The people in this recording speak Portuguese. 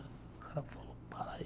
O cara falou, para aí.